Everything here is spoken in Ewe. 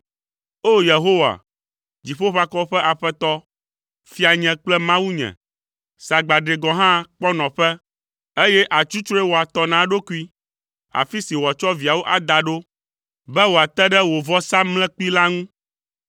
O! Yehowa, Dziƒoʋakɔwo ƒe Aƒetɔ, Fianye kple Mawunye, sagbadre gɔ̃ hã kpɔ nɔƒe, eye atsutsrɔe wɔ atɔ na eɖokui, afi si wòatsɔ viawo ada ɖo, be wòate ɖe wò vɔsamlekpui la ŋu.